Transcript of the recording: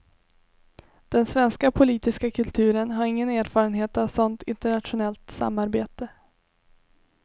Den svenska politiska kulturen har ingen erfarenhet av sådant internationellt samarbete.